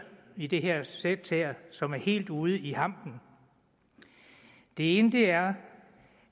i det her sæt som er helt ude i hampen det ene er